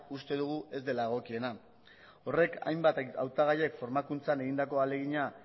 uste dugu ez dela egokiena horrek hainbat hautagaiek formakuntzan egindako ahalegina